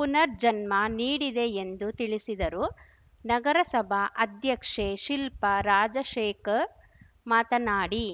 ಪುನರ್ಜನ್ಮ ನೀಡಿದೆ ಎಂದು ತಿಳಿಸಿದರು ನಗರಸಭಾ ಅಧ್ಯಕ್ಷೆ ಶಿಲ್ಪಾ ರಾಜಶೇಖರ್‌ ಮಾತನಾಡಿ